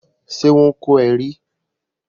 Ṣe wọn kọ é rí?